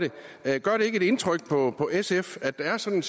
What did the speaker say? det gør det ikke indtryk på sf at der er sådan